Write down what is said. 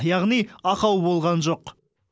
яғни ақау болған жоқ